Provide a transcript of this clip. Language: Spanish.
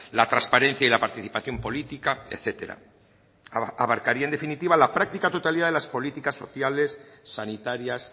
la transparencia y la participación política etcétera abarcaría en definitiva la práctica totalidad de las políticas sociales sanitarias